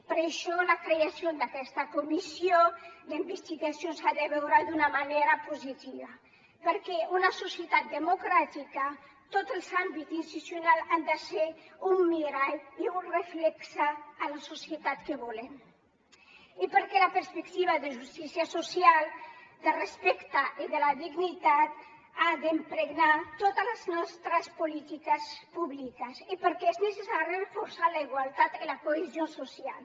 per això la creació d’aquesta comissió d’investigació s’ha de veure d’una manera positiva perquè en una societat democràtica tots els àmbits institucionals han de ser un mirall i un reflex de la societat que volem i perquè la perspectiva de justícia social del respecte i de la dignitat ha d’impregnar totes les nostres polítiques públiques i perquè és necessari reforçar la igualtat i la cohesió social